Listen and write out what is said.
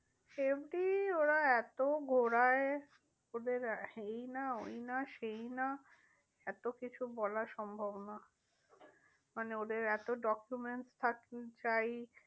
FD ওরা এত ঘোড়ায় ওদের ই না ওই না সেই না। এত কিছু বলার সম্ভব না। মানে ওদের এত docoments থাকতে চাই।